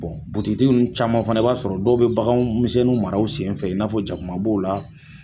caman fana i b'a sɔrɔ dɔw bɛ baganmisɛnnu mara u senfɛ n n'a jakuma b'o la